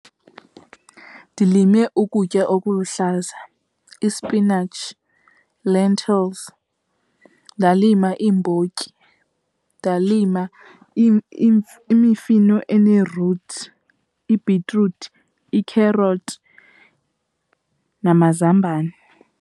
Ndilime ukutya okuluhlaza, ispinatshi, lentils, ndalima iimbotyi, ndalima imifino ene-roots, ibhitruthi, ikherothi namazambane.